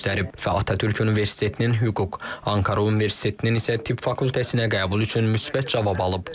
Və Atatürk Universitetinin hüquq, Ankara Universitetinin isə Türk fakültəsinə qəbul üçün müsbət cavab alıb.